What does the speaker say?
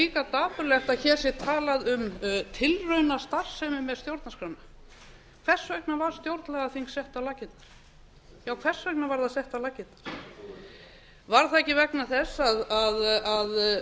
líka dapurlegt að hér sé talað um tilraunastarfsemi með stjórnarskrána hvers vegna var stjórnlagaþing sett á laggirnar já hvers vegna var það sett á laggirnar var það ekki vegna þess að